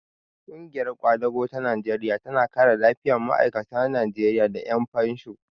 Ƙungiyar ƙwadago ta Najeriya tana kare lafiyar ma'aikata Najeriya da ƴan fansho.